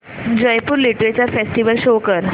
Jaipur literature festival show कर